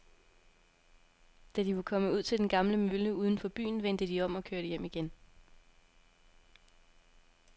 Da de var kommet ud til den gamle mølle uden for byen, vendte de om og kørte hjem igen.